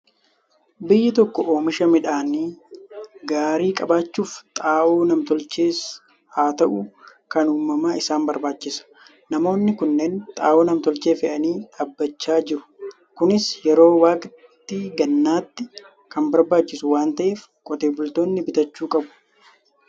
Biyyi tokko oomisha midhaan gaarii qabaachuuf xaa'oo nam-tolchees haa ta'u, kan uumamaa isaan barbaachisa . Namoonni kunneen xaa'oo nam-tolchee fe'anii dhaabachaa jiru. Kunis yeroo waqtii gannaatti kan barbaachisu waan ta'eef, qotee bultoonni bitachuu qabu.